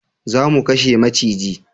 Za mu kashe maciji